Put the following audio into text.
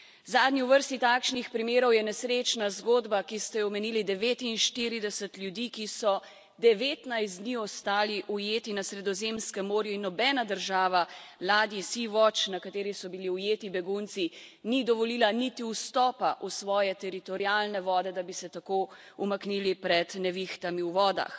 Zadnji v vrsti takšnih primerov je nesrečna zgodba, ki ste jo omenili, 49 ljudi, ki so 19 dni ostali ujeti na Sredozemskem morju in nobena država ladji na kateri so bili ujeti begunci, ni dovolila niti vstopa v svoje teritorialne vode, da bi se tako umaknili pred nevihtami v vodah.